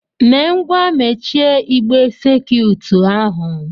Mee ngwa mechie igbe sakiut ahụ!